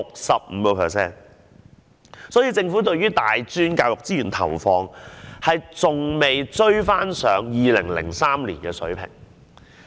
所以，政府對於大專教育資源的投放，還未追回2003年的水平。